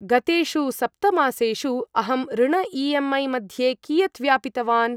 गतेषु सप्त मासेषु अहं ऋण ई.एम्.ऐ. मध्ये कियत् व्यापितवान्?